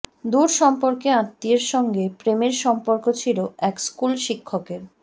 দুর সম্পর্কে আত্মীয়ের সঙ্গে প্রেমের সম্পর্ক ছিল এক স্কুলশিক্ষকের